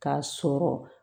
K'a sɔrɔ